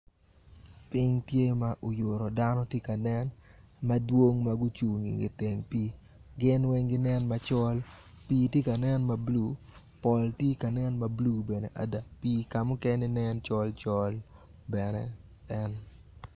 Ping tye ma oyuto dano tye ka nen madwong ma gucung i ngete i teng pi gin weng ginen macol pi tye ka nen mablue pol tye ka nen mablue bene adada pi ka mukene nen col col bene en.